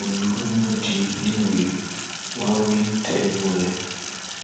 ọmiṣọrẹ fẹẹ dúpọ akọwé àpapọ ẹgbẹ apc